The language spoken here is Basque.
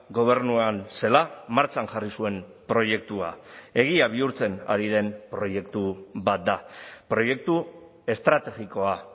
gobernuan zela martxan jarri zuen proiektua egia bihurtzen ari den proiektu bat da proiektu estrategikoa